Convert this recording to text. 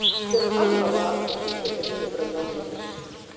Gera alvarlegar athugasemdir við vinnubrögð ráðuneytis